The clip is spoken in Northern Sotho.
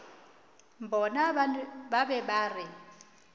bona ba be ba re